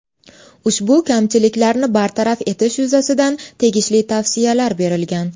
Ushbu kamchiliklarni bartaraf etish yuzasidan tegishli tavsiyalar berilgan.